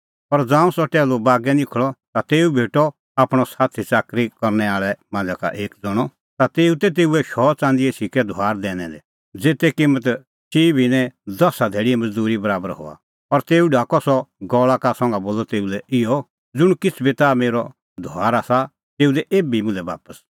पर ज़ांऊं सह टैहलू बागै निखल़अ ता तेऊ भेटअ आपणअ साथी च़ाकरी करनै आल़ै मांझ़ै एक ज़ण्हअ ता तेऊ तै तेऊए शौ च़ंदीए सिक्कै धुआर दैनै दै ज़ेते किम्मत चिई भिन्नैं दसा धैल़ीए मज़दूरी बराबर हआ ती और तेऊ ढाकअ सह गल़ा का संघा बोलअ तेऊ लै इहअ ज़ुंण किछ़ बी ताह मेरअ धुआर आसा तेऊ दैऐ एभी मुल्है बापस